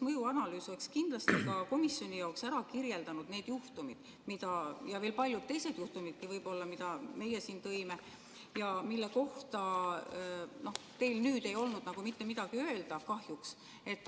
Mõjuanalüüs oleks kindlasti ka komisjoni jaoks ära kirjeldanud need juhtumid, mida meie siin tõime ja mille kohta teil ei olnud kahjuks mitte midagi öelda, ja veel paljud teised juhtumid võib-olla.